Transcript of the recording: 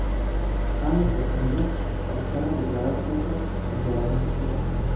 Sammit yakunida Ostona deklaratsiyasi imzolanishi kutilmoqda.